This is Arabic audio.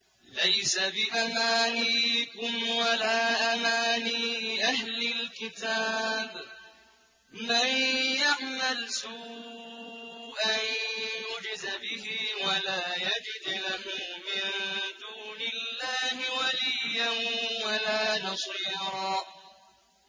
لَّيْسَ بِأَمَانِيِّكُمْ وَلَا أَمَانِيِّ أَهْلِ الْكِتَابِ ۗ مَن يَعْمَلْ سُوءًا يُجْزَ بِهِ وَلَا يَجِدْ لَهُ مِن دُونِ اللَّهِ وَلِيًّا وَلَا نَصِيرًا